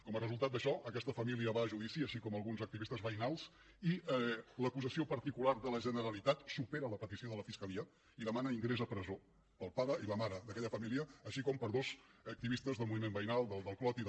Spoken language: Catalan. com a resultat d’això aquesta família va a judici com també alguns activistes veïnals i l’acusació particular de la generalitat supera la petició de la fiscalia i demana ingrés a presó per al pare i la mare d’aquella família i també per a dos activistes del moviment veïnal del clot i de